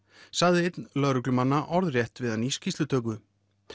sagði einn lögreglumannanna orðrétt við hann í skýrslutöku